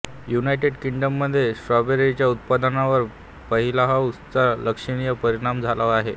United किंग्डममध्ये स्ट्रॉबेरीच्या उत्पादनावर पॉलिहाऊस चा लक्षणीय परिणाम झाला आहे